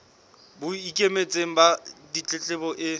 bo ikemetseng ba ditletlebo e